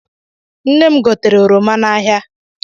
Nne m gotere oroma n'ahia.